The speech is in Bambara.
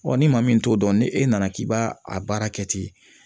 Ɔ ni maa min t'o dɔn ni e nana k'i b'a a baara kɛ ten